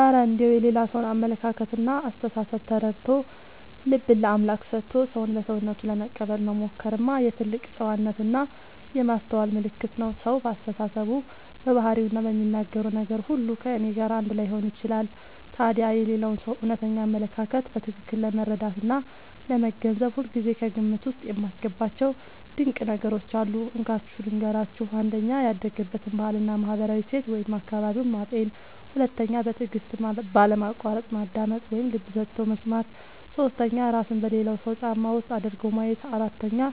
እረ እንደው የሌላ ሰውን አመለካከትና አስተሳሰብ ተረድቶ፣ ልብን ለአምላክ ሰጥቶ ሰውን በሰውነቱ ለመቀበል መሞከርማ የትልቅ ጨዋነትና የማስተዋል ምልክት ነው! ሰው በአስተሳሰቡ፣ በባህሪውና በሚናገረው ነገር ሁሉ ከእኔ ጋር አንድ ላይሆን ይችላል። ታዲያ የሌላውን ሰው እውነተኛ አመለካከት በትክክል ለመረዳትና ለመገንዘብ ሁልጊዜ ከግምት ውስጥ የማስገባቸው ድንቅ ነገሮች አሉ፤ እንካችሁ ልንገራችሁ - 1. ያደገበትን ባህልና ማህበራዊ እሴት (አካባቢውን) ማጤን 2. በትዕግስትና ባለማቋረጥ ማዳመጥ (ልብ ሰጥቶ መስማት) 3. እራስን በሌላው ሰው ጫማ ውስጥ አድርጎ ማየት 4.